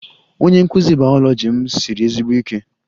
Onye nkụzi biology m siri ezigbo ike